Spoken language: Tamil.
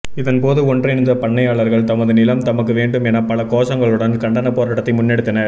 இதன்போது ஒன்றிணைந்த பண்ணையாளர்கள் தமது நிலம் தமக்கு வேண்டும் என பல கோஷங்களுடன் கண்டன போராட்டத்தை முன்னெடுத்தனர்